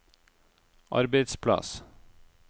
arbeidsplass